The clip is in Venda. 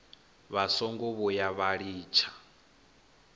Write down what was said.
vha songo vhuya vha litsha